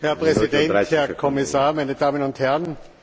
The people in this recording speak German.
Herr Präsident, Herr Kommissar, meine Damen und Herren!